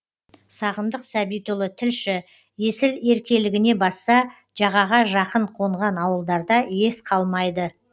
сағындық сәбитұлы тілші есіл еркелігіне басса жағаға жақын қонған ауылдарда ес қалмайды